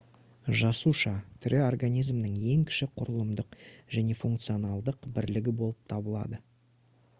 жасуша тірі организмнің ең кіші құрылымдық және функционалдық бірлігі болып табылады